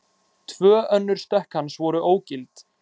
Tvö önnur stökk hans voru ógild